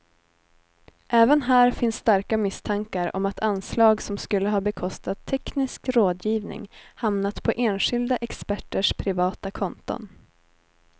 Även här finns starka misstankar om att anslag som skulle ha bekostat teknisk rådgivning hamnat på enskilda experters privata konton.